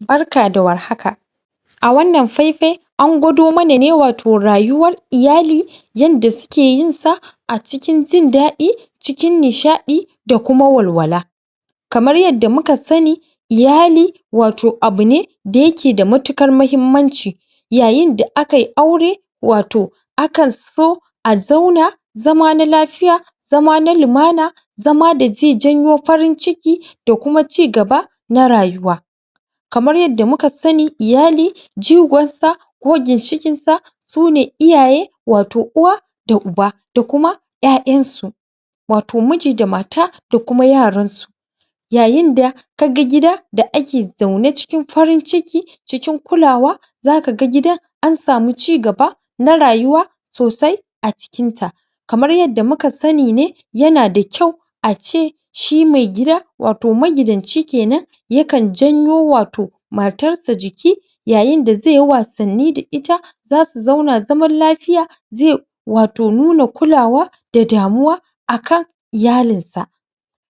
Barka da war haka! A wannan faifayi, an gwado mana ne wato rayuwar iyali, yanda suke yinsa a cikin jin daɗi, cikin nishaɗi da kuma walwala Kamar yadda muka sani, iyali wato abu ne da yake da matuƙar muhimmanci Yayin da akai aure wato akan so a zauna, zama na lafiya, zama na lumana zama da zai janyo farin ciki da kuma cigaba na rayuwa. Kamar yadda muka sani, iyali jigonsa ko ginshiƙinsa su ne iyaye wato uwa da uba da kuma ƴaƴansu wato miji da mata da kuma yaransu. Yayin da ka ga gida da ake zaune cikin farin ciki, cikin kulawa, za ka ga gidan an samu cigaba na rayuwa sosai a cikinta. Kamar yadda muka sani ne, yana da kyau a ce shi mai gida wato magidanci ke nan yakan janyo wato matarsa jiki yayin da zai yi wasanni da ita, za su zauna zaman lafiya, zai wato nuna kulawa da damuwa a kan iyalinsa.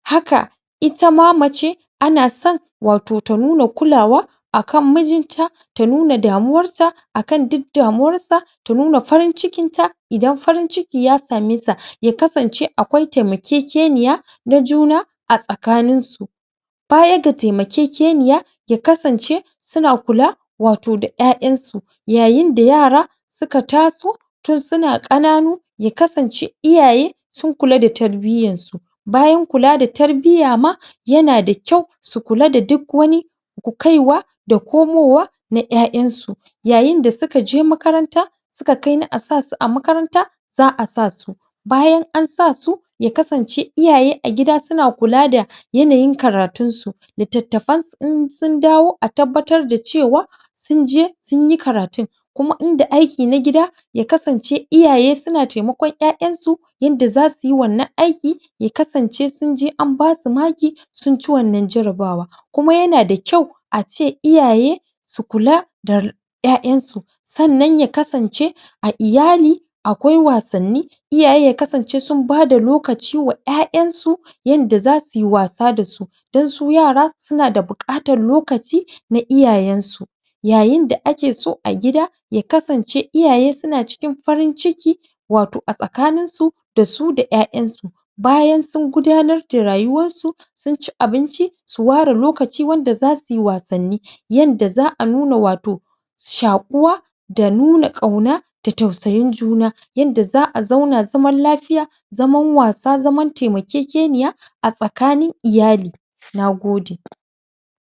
Haka ita ma mace, ana son wato ta nuna kulawa a kan mijinta, ta nuna damuwarsa a kan duk damuwarsa ta nuna farin cikinta idan farin ciki ya same sa, ya kasancewa akwai taimakekeniya na juna a tsakaninsu Baya ga taimakekeniya, ya kasance suna kula wato da ƴaƴansu yayin da yara suka taso suna ƙananu ya kasance iyaye sun kula da tarbiyyansu. Bayan kula da tarbiyya ma, yana da kyau su kula da duk wani kaiwa da komowa na ƴaƴansu; yayin da suka je makaranta suka kai a sa su a makaranta za a sa su Bayan an sa su, ya kasance a gida iyaye suna kula da yanayin karatunsu littattafansu in sun dawo a tabbatar da cewa sun je sun yi karatun kuma in da aiki na gida ya kasance iyaye suna taimakon ƴaƴansu yanda za su yi wannan aiki ya kasance sun je an ba su maki sun ci wannan jarabawa. Kuma yana da kyau a ce iyaye su kula da ƴaƴansu. Sannan ya kasance a iyali akwai wasanni; iyaye ya kasance sun ba da lokaci wa ƴaƴansu yanda za su yi wasa da su don su yara suna da buƙatar lokaci na iyayensu, yayin da ake so a gida ya kasance iyaye suna cikin farin ciki wato a tsakaninsu da su da ƴaƴansu. Bayan sun gudanar da rayuwarsu sun ci abinci, su ware lokaci wanda za su yi wasanni yanda za a nuna wato shaƙuwa da nuna ƙauna da tausayin juna yanda za a zauna zaman lafiya